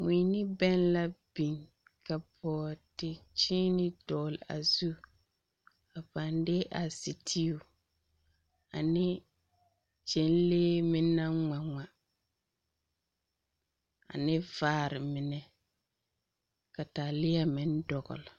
Mui ne bɛŋ la biŋ. Ka bɔɔdekyeene dɔɔle a zu. A pãã de a seteu ane gyɛnlee meŋ naŋ ŋma ŋma, ane vaare mine ka taaleɛ meŋ dɔgle.